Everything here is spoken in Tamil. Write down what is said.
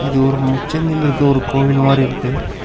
இது ஒரு முச்சந்தில இருக்ற ஒரு கோவில் மாரி இருக்கு.